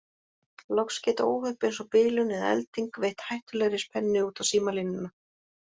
Loks geta óhöpp eins og bilun eða elding veitt hættulegri spennu út á símalínuna.